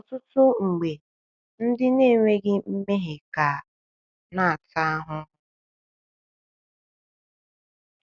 Ọtụtụ mgbe, ndị na-enweghị mmehie ka na-ata ahụhụ.